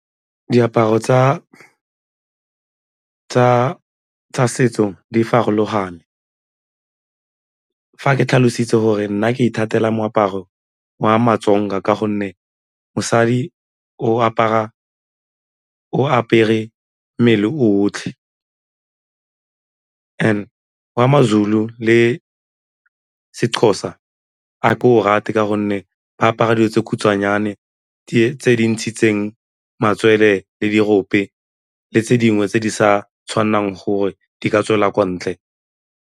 Diaparo tsa setso di farologane. Fa ke tlhalositse gore nna ke ithatela moaparo wa ma-Tsonga ka gonne mosadi o apere mmele o otlhe and wa ma-Zulu le seXhosa a ke o rate ka gonne fa ba apara dilo tse khutshwanyane tse di ntshitseng matswele le dirope le tse dingwe tse di sa tshwanelang gore di ka tswela kwa ntle.